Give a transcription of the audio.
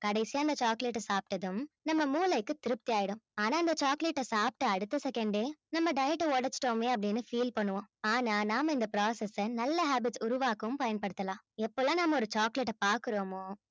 கடைசியா அந்த chocolate அ சாப்பிட்டதும் நம்ம மூளைக்கு திருப்தி ஆயிடும் ஆனா அந்த chocolate அ சாப்பிட்ட அடுத்த second ஏ நம்ம diet ட உடைச்சுட்டோமே அப்படீன்னு feel பண்ணுவோம் ஆனா நாம இந்த process அ நல்ல habit உருவாக்கவும் பயன்படுத்தலாம் எப்ப எல்லாம் நாம ஒரு chocolate அ பார்க்கிறோமோ